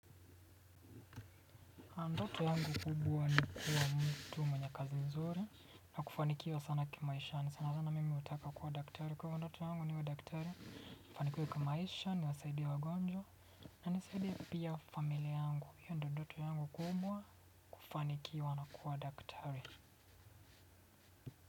Ndoto yangu kubwa ni kuwa mtu mwenye kazi nzuri na kufanikiwa sana kimaisha ni sana sana mimi hutaka kuwa daktari kwa hivyo ndoto yangu niwe daktari nifanikiwe kimaisha niwasaidia wagonjwa na nisaidie pia familia yangu hiyo ndoto yangu kubwa kufanikiwa na kuwa daktari.